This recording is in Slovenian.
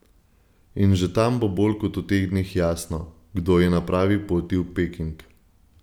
In že tam bo bolj kot v teh dneh jasno, kdo je na pravi poti v Peking.